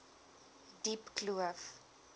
diepkloof